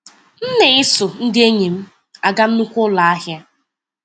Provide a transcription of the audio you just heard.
M na-eso ndị enyi m aga nnukwu ụlọ ahịa.